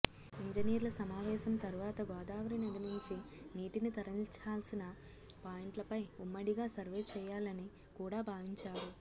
ఇంజనీర్ల సమావేశం తర్వాత గోదావరి నది నుంచి నీటిని తరలించాల్సిన పాయింట్లపై ఉమ్మడిగా సర్వే చేయాలని కూడా భావించారు